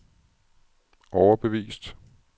overbevist